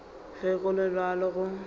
ge go le bjalo go